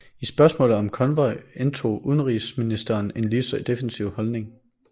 I spørgsmålet om konvoj indtog udenrigsministeren en lige så defensiv holdning